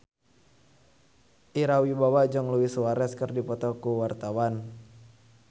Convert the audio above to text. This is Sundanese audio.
Ira Wibowo jeung Luis Suarez keur dipoto ku wartawan